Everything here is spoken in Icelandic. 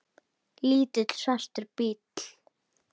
Lítill, svartur bíll.